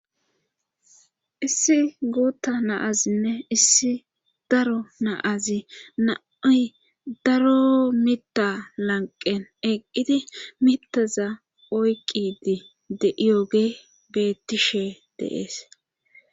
Issi guutta na'azinne issi daro na'azi nay daro mitta lanqen eqqidi mittaza oyqqidi de7iyoge beettishe de'ees.